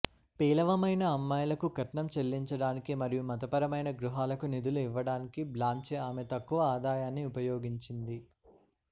పేలవమైన అమ్మాయిలకు కట్నం చెల్లించడానికి మరియు మతపరమైన గృహాలకు నిధులు ఇవ్వడానికి బ్లాన్చే ఆమె తక్కువ ఆదాయాన్ని ఉపయోగించింది